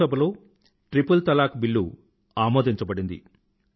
లోక్ సభలో triple talaq bill అమోదించబడింది